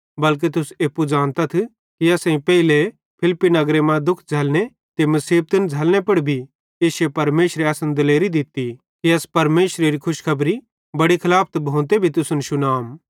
बल्के तुस एप्पू ज़ानतथ कि असेईं पेइले फिलिप्पी नगरे मां दुख झ़ल्लने ते मुसीबत झ़ल्लने पुड़ भी इश्शे परमेशरे असन दिलेरी दित्ती कि अस परमेशरेरो खुशखबरी बड़ी खलाफत भोंते भी तुसन शुनाम